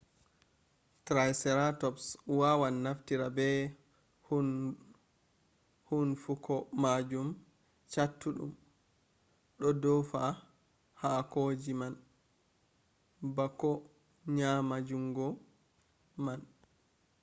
traiseratops waawan naftira be huunnfuko maajum cattuɗum ɗo ɗoofa haakoji nan bako nyaama njuungo man